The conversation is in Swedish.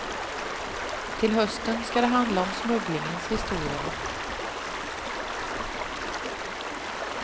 Till hösten ska det handla om smugglingens historia.